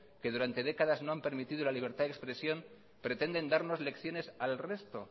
que durante décadas no han permitido la libertad de expresión pretenden darnos lecciones al resto